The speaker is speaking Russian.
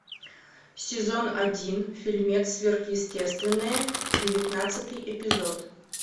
сезон один фильмец сверхъестественное девятнадцатый эпизод